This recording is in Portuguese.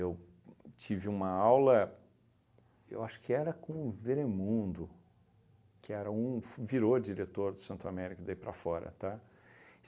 Eu tive uma aula, eu acho que era com o Veremundo, que era um f virou diretor do Santo Américo daí para fora, tá?